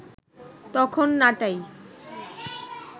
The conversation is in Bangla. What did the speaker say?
তখন নাটাই